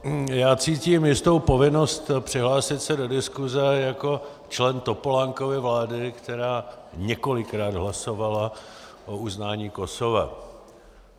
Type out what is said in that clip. Já cítím jistou povinnost přihlásit se do diskuse jako člen Topolánkovy vlády, která několikrát hlasovala o uznání Kosova.